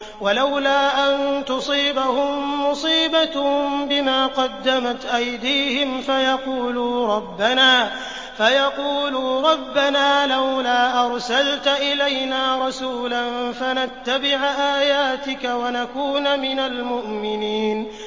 وَلَوْلَا أَن تُصِيبَهُم مُّصِيبَةٌ بِمَا قَدَّمَتْ أَيْدِيهِمْ فَيَقُولُوا رَبَّنَا لَوْلَا أَرْسَلْتَ إِلَيْنَا رَسُولًا فَنَتَّبِعَ آيَاتِكَ وَنَكُونَ مِنَ الْمُؤْمِنِينَ